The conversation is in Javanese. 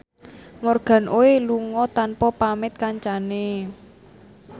Morgan Oey lunga tanpa pamit kancane